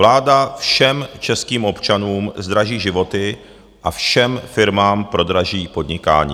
Vláda všem českým občanům zdraží životy a všem firmám prodraží podnikání.